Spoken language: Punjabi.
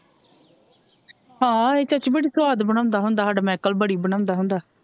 ਹਾਂ ਇਹ ਚਾਚੀ ਬੜੀ ਸਵਾਦ ਬਣਾਉਂਦਾ ਹੁੰਦਾ ਸਾਡਾ ਮਾਈਕਲ ਬੜੀ ਬਣਾਉਂਦਾ ਹੁੰਦਾ।